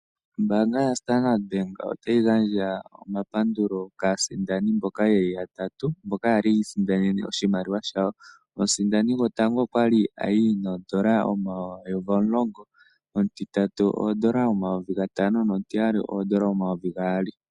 Ombaanga yaStandard otayi gandja omapandulo kaasindani mboka ye li yatatu mboka yi isindanene oshimaliwa shawo. Omusindani gotango okwa sindana ooN$ 10000, omutiyali ooN$ 5000 nomutitatu ooN$ 2000.